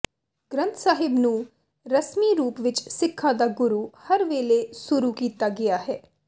ਗ੍ਰੰਥ ਸਾਹਿਬ ਨੂੰ ਰਸਮੀ ਰੂਪ ਵਿਚ ਸਿੱਖਾਂ ਦਾ ਗੁਰੂ ਹਰ ਵੇਲੇ ਸੁਰੂ ਕੀਤਾ ਗਿਆ ਹੈ